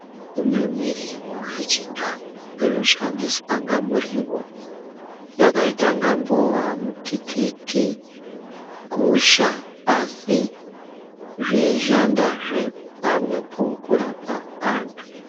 Kune miriwo yechindau inoshandiswa inga muriwo yakaita inga mbowa, mutikiti, gusha asi zveishandazve pamwepo kurapa antu.